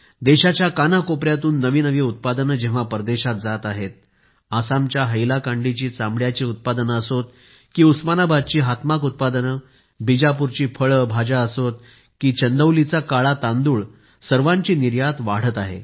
देशाच्या कानाकोपऱ्यातून नवी नवी उत्पादने परदेशात जात आहेत आसामच्या हैलाकांडीची चामड्याची उत्पादने असोत की उस्मानाबादची हातमाग उत्पादनेबीजापूरची फळे भाज्या असोत की चंदौलीचा काळा तांदूळ सर्वांची निर्यात वाढत आहे